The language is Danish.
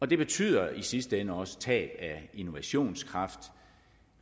det betyder i sidste ende også tab af innovationskraft